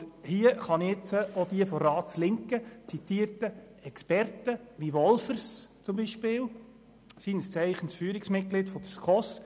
Und hier kann ich nun auch auf von der Ratslinken zitierte Experten verweisen wie beispielsweise Wolffers als Führungsmitglied der SKOS.